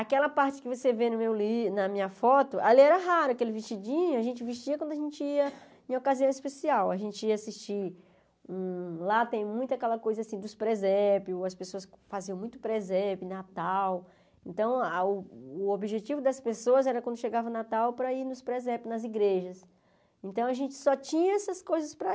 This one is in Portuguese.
Aquela parte que você vê no meu li na minha foto, ali era raro, aquele vestidinho, a gente vestia quando a gente ia em ocasião especial, a gente ia assistir, hum lá tem muito aquela coisa assim dos presépios, as pessoas faziam muito presépio, Natal, então a o objetivo das pessoas era quando chegava Natal para ir nos presépios, nas igrejas, então a gente só tinha essas coisas para.